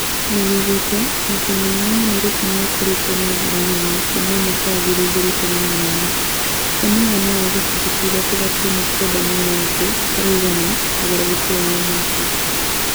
Nĩyugĩte "Mũcĩĩ mũnene wa Nairobi nĩũkũrĩte na njĩra nene kuma mwaka wa ngiri igĩrĩ ikũmi na ithano, he mũigana wa gĩcunjĩ kĩa ithatũ gaturumo Kenda na ithathatũ harĩ igana ũgarũrũku wa o mwaka".